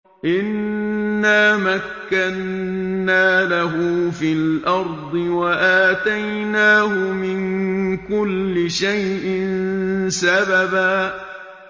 إِنَّا مَكَّنَّا لَهُ فِي الْأَرْضِ وَآتَيْنَاهُ مِن كُلِّ شَيْءٍ سَبَبًا